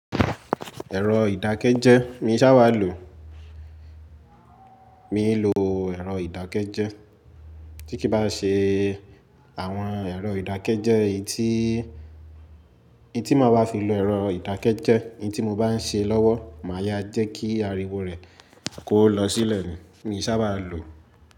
Ẹ̀rọ ìdákẹ́jẹ́ mi sá bàa lò. Mi ń lo ẹ̀rọ ìdákẹ́jẹ́. Tí kí bá ṣe àwọn ẹ̀rọ ìdákẹ́jẹ́, eyi tí, in tí mo bá fi lo ẹ̀rọ ìdákẹ́jẹ́, eyi tí mo bá ń ṣe lọ́wọ́, máa yá jẹ́ kí ariwo rẹ kò lọ sílẹ̀ ni, mi sá bàa lò.